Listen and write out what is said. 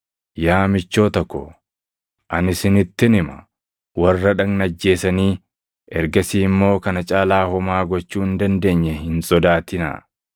“Yaa michoota ko, ani isinittin hima; warra dhagna ajjeesanii ergasii immoo kana caalaa homaa gochuu hin dandeenye hin sodaatinaa.